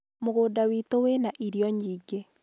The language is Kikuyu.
mũgũnda wĩ itũ wĩna irio nyingĩ